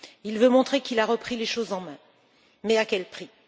Il veut montrer qu'il a repris les choses en main, mais à quel prix?